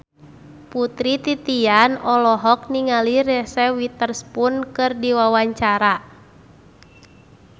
Putri Titian olohok ningali Reese Witherspoon keur diwawancara